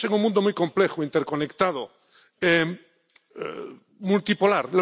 Estamos en un mundo muy complejo, interconectado, multipolar.